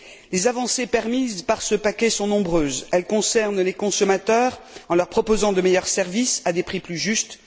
Les avancées permises par ce paquet sont nombreuses. Elles concernent les consommateurs en leur proposant de meilleurs services à des prix plus justes.